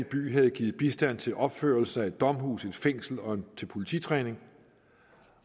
by havde givet bistand til opførelse af et domhus et fængsel og til polititræning